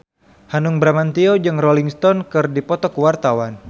Hanung Bramantyo jeung Rolling Stone keur dipoto ku wartawan